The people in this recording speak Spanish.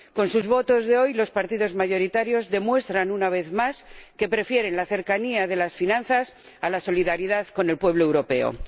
Con sus votos de hoy, los partidos mayoritarios demuestran, una vez más, que prefieren la cercanía de las finanzas a la solidaridad con el pueblo europeo.